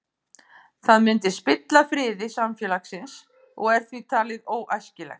Það myndi spilla friði samfélagsins og er því talið óæskilegt.